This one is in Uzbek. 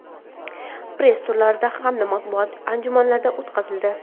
press turlar hamda matbuot anjumanlari o‘tkazildi.